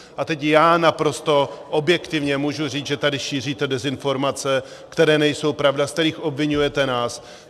A teď já naprosto objektivně můžu říct, že tady šíříte dezinformace, které nejsou pravda, z kterých obviňujete nás.